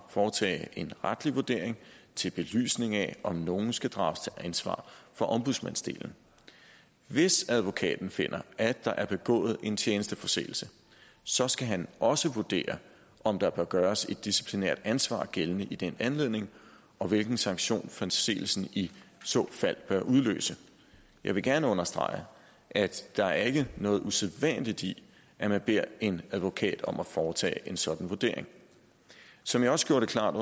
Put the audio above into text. foretage en retlig vurdering til belysning af om nogen skal drages til ansvar for ombudsmandslignende hvis advokaten finder at der er begået en tjenesteforseelse så skal han også vurdere om der bør gøres et disciplinært ansvar gældende i den anledning og hvilken sanktion forseelsen i så fald bør udløse jeg vil gerne understrege at der ikke er noget usædvanligt i at man beder en advokat om at foretage en sådan vurdering som jeg også gjorde det klart